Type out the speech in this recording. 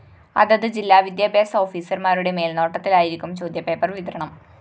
അതത് ജില്ലാ വിദ്യാഭ്യാസ ഓഫീസര്‍മാരുടെ മേല്‍നോട്ടത്തിലായിരിക്കും ചോദ്യപേപ്പര്‍ വിതരണം